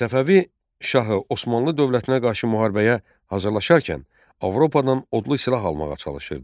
Səfəvi şahı Osmanlı dövlətinə qarşı müharibəyə hazırlaşarkən Avropadan odlu silah almağa çalışırdı.